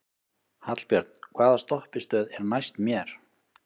Hallbjörn, hvaða stoppistöð er næst mér?